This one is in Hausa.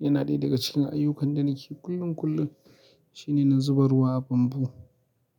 Yana ɗaya daga cikin ayyukan da nake kullum-kullum shine na zuba ruwa a bambu.